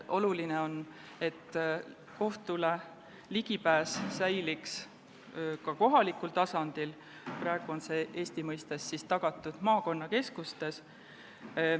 Oluline on, et ligipääs kohtule säiliks ka kohalikul tasandil, praegu on see Eesti mõistes tagatud maakonnakeskustes.